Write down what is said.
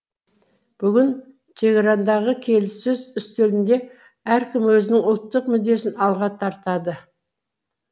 бүгін тегерандағы келіссөз үстелінде әркім өзінің ұлттық мүддесін алға тартады